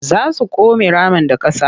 Za su come ramin da ƙasa.